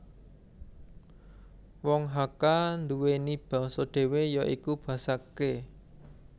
Wong Hakka nduweni basa dhewe ya iku Basa Ke